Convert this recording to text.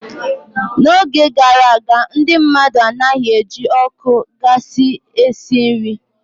N'oge gara aga, ndị mmadụ anaghị eji ọkụ gasi esi nri.